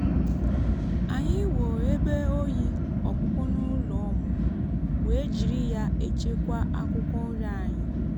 anyị wuo ebe oyi ọkpụkpụ n'ụlọ ọmụmụ wee jiri ya echekwa akwụkwọ nri anyị.